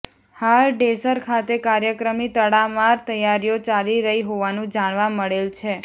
હાલ ડેસર ખાતે કાર્યક્રમની તડામાર તૈયારીઓ ચાલી રહી હોવાનુ જાણવા મળેલ છે